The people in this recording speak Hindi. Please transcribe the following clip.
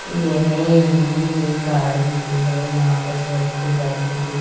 येह इमेज एक गार्डन की है यहां पर बहोत सी बैठने की--